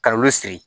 Ka olu siri